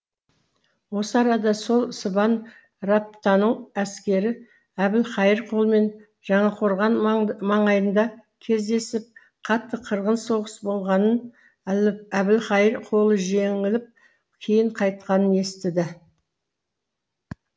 осы арада сол сыбан раптанның әскері әбілқайыр қолымен жаңақорған маңайында кездесіп қатты қырғын соғыс болғанын әбілқайыр қолы жеңіліп кейін қайтқанын естіді